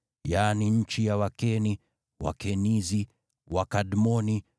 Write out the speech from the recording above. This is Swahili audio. yaani nchi ya Wakeni, Wakenizi, Wakadmoni,